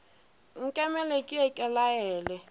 nkemele ke ye ke laele